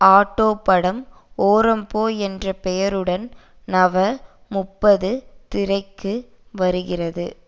auto படம் ஒரம்போ என்ற பெயருடன் நவ முப்பது திரைக்கு வருகிறது